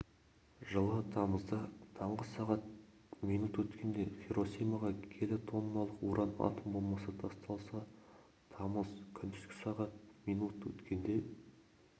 жылы тамызда таңғы сағат минут өткенде хиросимаға келі тонналық уран атом бомбасы тасталса тамыз күндізгі сағат минут өткенде